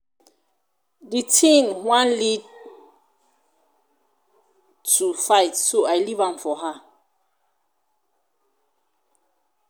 the thing wan lead lead to fight so i leave am for her